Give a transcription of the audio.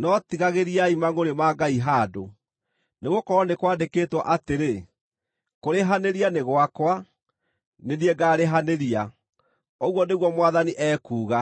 no tigagĩriai mangʼũrĩ ma Ngai handũ, nĩgũkorwo nĩ kwandĩkĩtwo atĩrĩ: “Kũrĩhanĩria nĩ gwakwa; nĩ niĩ ngaarĩhanĩria,” ũguo nĩguo Mwathani ekuuga.